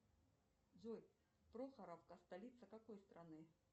джой прохоровка столица какой страны